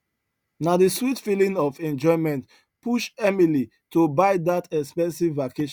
na the sweet feeling of enjoyment push emily to buy that expensive vacation